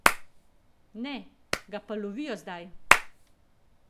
Ne, ga pa lovijo zdaj!